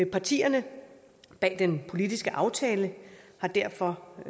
partierne bag den politiske aftale har derfor